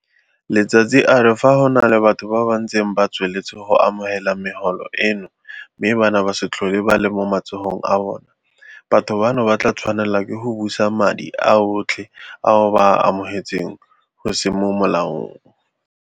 Letsatsi a re fa go na le batho ba ba ntseng ba tsweletse go amogela megolo eno mme bana ba se tlhole ba le mo matsogong a bona, batho bano ba tla tshwanela ke go busa madi ao otlhe ao ba a amogetseng go se mo molaong.